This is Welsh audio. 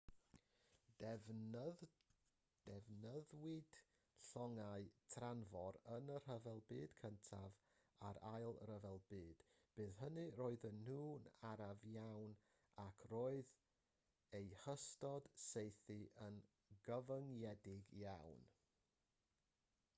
defnyddiwyd llongau tanfor yn y rhyfel byd cyntaf a'r ail ryfel byd bryd hynny roedden nhw'n araf iawn ac roedd eu hystod saethu yn gyfyngedig iawn